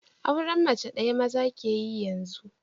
Auren mace ɗaya maza ke yi yanzu